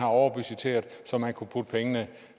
overbudgetteret så man kunne putte pengene